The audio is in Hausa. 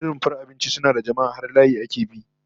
In rumfar abinci suna da jama'a, har layi ake bi